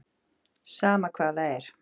Sama hvað það er.